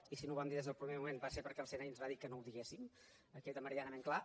i si no ho vam dir des del primer moment va ser perquè el cni ens va dir que no ho diguéssim que quedi meridianament clar